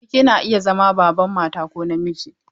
Siriki na iya zama Baban mata ko na miji.